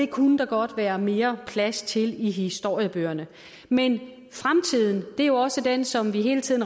kunne der godt være mere plads til i historiebøgerne men fremtiden er jo også den som vi hele tiden